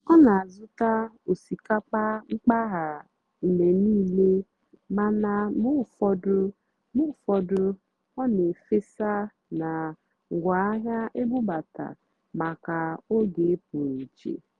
ọ́ nà-àzụ́tá ósìkápà mpàgàrà mgbe níìlé màná mgbe ụ́fọ̀dụ́ mgbe ụ́fọ̀dụ́ ọ́ nà-èfèsá nà ngwáàhịá ébúbátárá màkà ógè pụ́rụ́ íché.